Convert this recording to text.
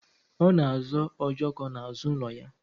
Ọ na azọ ojoko n'azụ ụlọ ya